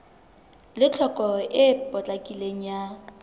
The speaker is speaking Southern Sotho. le tlhokeho e potlakileng ya